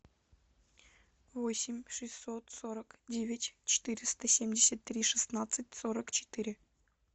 восемь шестьсот сорок девять четыреста семьдесят три шестнадцать сорок четыре